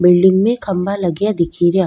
Building में खम्भा लगे या दिख रिया।